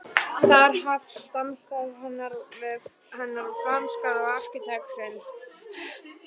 Þar hefst samstarf hennar og franska arkitektsins